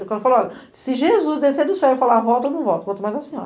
Quando falou, olha, se Jesus descer do céu e falar, volta, eu não volto, quanto mais a senhora.